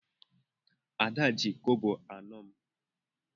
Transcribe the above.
Ada ji kobo anọ m.